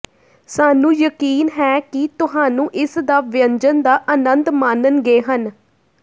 ਸਾਨੂੰ ਯਕੀਨ ਹੈ ਕਿ ਤੁਹਾਨੂੰ ਇਸ ਦਾ ਵਿਅੰਜਨ ਦਾ ਆਨੰਦ ਮਾਣਨਗੇ ਹਨ